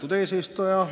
Lugupeetud eesistuja!